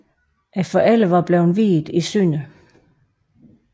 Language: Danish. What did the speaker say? Forældrene var blevet viet i Sdr